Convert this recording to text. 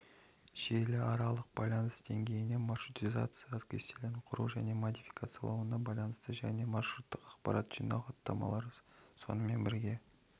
желіаралық байланыс деңгейіне маршрутизация кестелерін құру мен модификациялауына байланысты және маршруттық ақпаратты жинау хаттамалары сонымен бірге